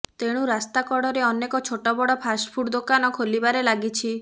ତେଣୁ ରାସ୍ତା କଡ଼ରେ ଅନେକ ଛୋଟବଡ଼ ଫାଷ୍ଟ ଫୁଡ୍ ଦୋକାନ ଖୋଲିବାରେ ଲାଗିଛି